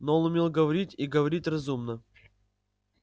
но он умел говорить и говорить разумно